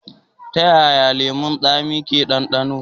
Ta yaya lemun tsami ke da ɗandano?